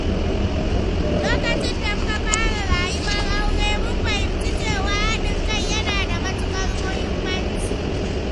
Lokacin da muka fara rayuwar aure, mun fahimci cewa hadin kai yana da matuƙar muhimmanci.